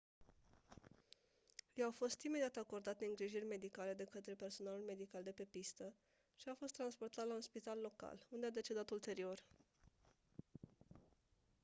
i-au fost imediat acordate îngrijiri medicale de câtre personalul medical de pe pistă și a fost transportat la un spital local unde a decedat ulterior